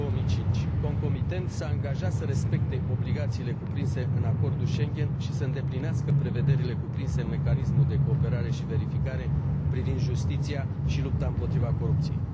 2005. Concomitent, s a angajat să respecte obligațiile cuprinse în Acordul Schengen și să îndeplinească prevederile cuprinse în Mecanismul de cooperare și verificare privind justiția și lupta împotriva corupției.